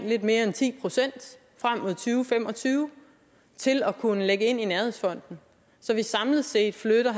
lidt mere end ti procent frem mod to fem og tyve til at kunne lægge ind i nærhedsfonden så vi samlet set flytter